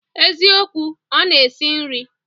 Eziokwu, Ona esi nri